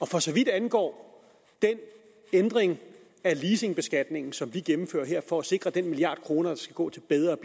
for så vidt angår den ændring af leasingbeskatningen som vi gennemfører her for at sikre den milliard kroner der skal gå til bedre